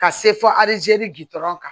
Ka se fɔ alizeli gdɔrɔn kan